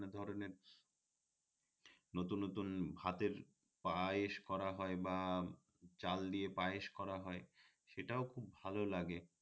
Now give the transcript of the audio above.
নতুন নতুন ভাতের পায়েস করা হয় বা চাল দিয়ে পায়েস করা হয় সেটাও খুব ভাল লাগে